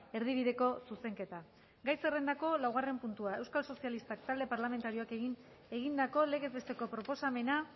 erdibideko zuzenketa gai zerrendako laugarren puntua euskal sozialistak talde parlamentarioak egindako legez besteko proposamena